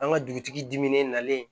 An ka dugutigi diminen nalen